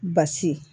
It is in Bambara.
Basi